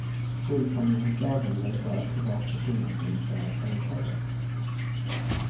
Skuldsaneringslagen gäller bara privatpersoner som inte är företagare.